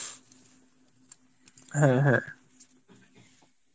হ্যাঁ হ্যাঁ